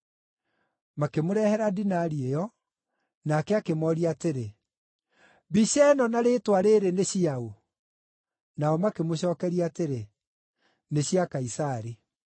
Makĩmũrehera dinari ĩyo, nake akĩmooria atĩrĩ, “Mbica ĩno na rĩĩtwa rĩĩrĩ nĩ cia ũ?” Nao makĩmũcookeria atĩrĩ, “Nĩ cia Kaisari.”